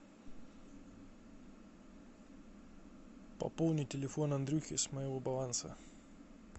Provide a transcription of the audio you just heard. пополни телефон андрюхи с моего баланса